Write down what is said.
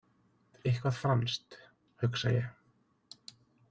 Eitthvað franskt, hugsa ég.